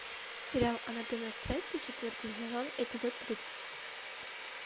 сериал анатомия страсти четвертый сезон эпизод тридцать